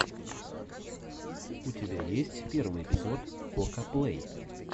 у тебя есть первый эпизод кокаплэй